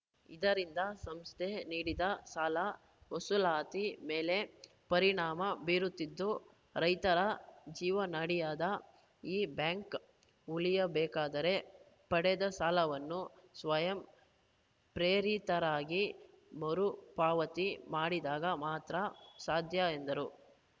ಇದರಿಂದ ಸಂಸ್ಥೆ ನೀಡಿದ ಸಾಲ ವಸೂಲಾತಿ ಮೇಲೆ ಪರಿಣಾಮ ಬೀರುತ್ತಿದ್ದು ರೈತರ ಜೀವನಾಡಿಯಾದ ಈ ಬ್ಯಾಂಕ್‌ ಉಳಿಯಬೇಕಾದರೆ ಪಡೆದ ಸಾಲವನ್ನು ಸ್ವಯಂ ಪ್ರೇರಿತರಾಗಿ ಮರುಪಾವತಿ ಮಾಡಿದಾಗ ಮಾತ್ರ ಸಾಧ್ಯ ಎಂದರು